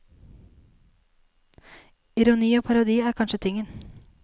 Ironi og parodi er kanskje tingen.